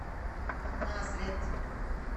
назрет